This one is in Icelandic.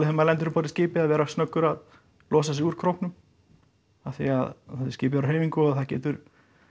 maður lendir um borð í skipi að vera snöggur að losa sig úr króknum af því að skipið er á hreyfingu og það getur